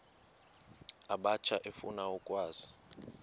abatsha efuna ukwazi